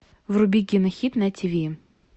вруби кинохит на тв